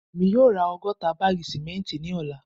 Emi yoo ra ọgọta baagi simenti ni ọla